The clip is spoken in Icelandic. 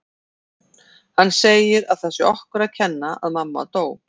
Hann segir að það sé okkur að kenna að mamma dó